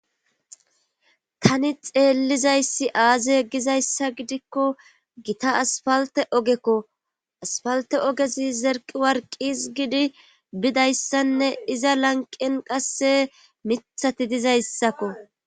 tani xeellizayssi aazeggizayssa gidikko gita asfalte ogekko asfalte ogezi zerqi warqis gidi bidayssanne iza lanqen qasse mithati dizayssakko